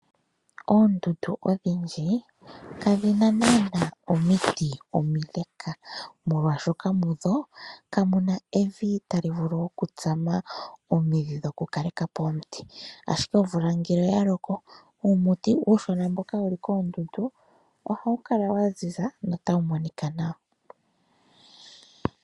Oondundu odhindji kadhi na nana omiti omile, molwaashoka mudho kamu na evi tali vulu okutsama omidhi dhoku kaleka po omiti, ashike omvula ngele oya loko uumuti uushona mboka wuli koondundu oha wu kala waziza notawu monika nawa.